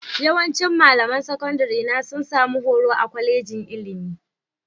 Yawancin malaman sakandarena sun sami horo a kwalejin ilimi